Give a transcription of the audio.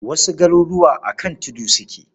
Wasu garuruwa a kan tudu suke.